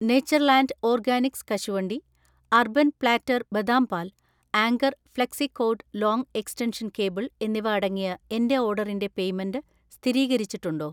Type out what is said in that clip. Natureland Organics കശുവണ്ടി, Urban Platter ബദാം പാൽ, Anchor flexicord long extension cable എന്നിവ അടങ്ങിയ എന്‍റെ ഓർഡറിന്‍റെ പേയ്‌മെന്റ് സ്ഥിരീകരിച്ചിട്ടുണ്ടോ